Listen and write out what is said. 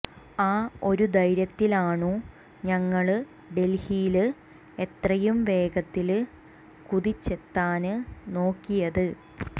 ആ ഒരു ധൈര്യത്തിലാണു ഞങ്ങള് ഡല്ഹിയില് എത്രയും വേഗത്തില് കുതിച്ചെത്താന് നോക്കിയത്